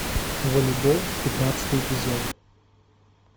волейбол пятнадцатый эпизод